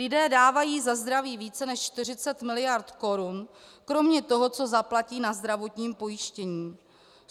Lidé dávají za zdraví více než 40 mld. korun kromě toho, co zaplatí na zdravotním pojištění.